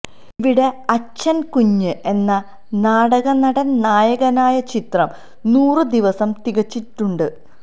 ഇവിടെ അച്ചന് കുഞ്ഞ് എന്ന നാടകനടന് നായകനായ ചിത്രം നൂറു ദിവസം തികച്ചിട്ടുണ്ട്